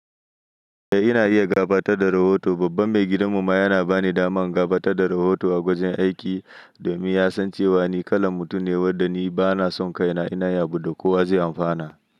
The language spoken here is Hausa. Eh ina iya gabatad da rahoto. Babban maigidin mu ma yana bani daman gafata da rahoto a gwajin aiki domin ya san cewa ni kalan mutum ne wanda ni bana son kaina ina yabu da kowa zai amfana.